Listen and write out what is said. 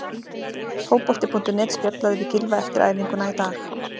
Fótbolti.net spjallaði við Gylfa eftir æfinguna í dag.